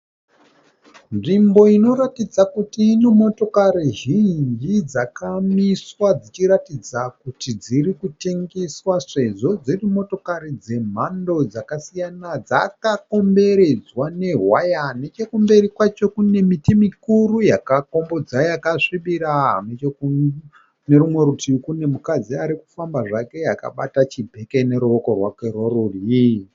Nzvimbo inoratidza kuti ine motokari zhinji dzakamiswa dzichiratidza kuti dziri kutengeswa sezvo dziri motokari dzemhando dzakasiyana dzakakomberedzwa newaya. Nechokumberi kwacho kune miti mikuru yakakombodza yakasvibira. Nechekune rumwe rutivi kune mukadzi ari kufamba zvake akabata chibheke noruoko rwake rworudyi.